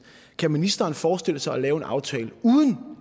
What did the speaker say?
kan ministeren forestille sig at lave en aftale uden